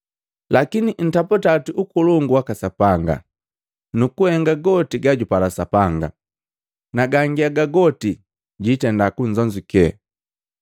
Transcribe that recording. Lakini ntaputa oti Ukolongu waka Sapanga, nu nnhenga goti gajupala Sapanga, na gangi haga goti jiitenda kunzonzuke.